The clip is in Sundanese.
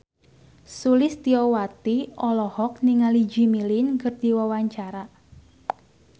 Sulistyowati olohok ningali Jimmy Lin keur diwawancara